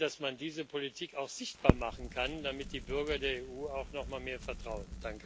Ich hoffe, dass man diese Politik auch sichtbar machen kann, damit die Bürger der EU auch noch mal mehr vertrauen.